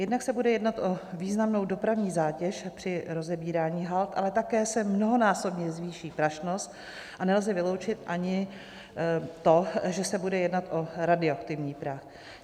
Jednak se bude jednat o významnou dopravní zátěž při rozebírání hald, ale také se mnohonásobně zvýší prašnost a nelze vyloučit ani to, že se bude jednat o radioaktivní prach.